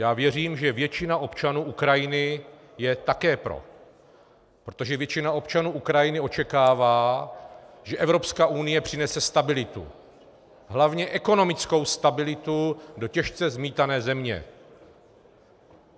Já věřím, že většina občanů Ukrajiny je také pro, protože většina občanů Ukrajiny očekává, že Evropská unie přinese stabilitu - hlavně ekonomickou stabilitu - do těžce zmítané země.